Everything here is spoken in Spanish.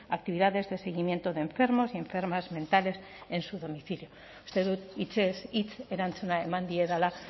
actividades de seguimiento de enfermos y enfermas mentales en su domicilio uste dut hitzez hitz erantzuna eman diedala